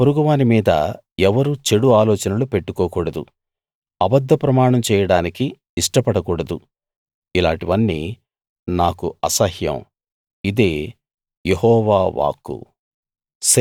తన పొరుగువాని మీద ఎవరూ చెడు ఆలోచనలు పెట్టుకోకూడదు అబద్ధ ప్రమాణం చేయడానికి ఇష్టపడకూడదు ఇలాటివన్నీ నాకు అసహ్యం ఇదే యెహోవా వాక్కు